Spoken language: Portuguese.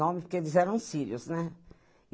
porque eles eram sírios, né?